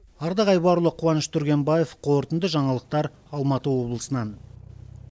ардақ айбарұлы қуаныш түргенбаев қорытынды жаңалықтар алматы облысынан